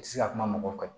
I tɛ se ka kuma mɔgɔ kan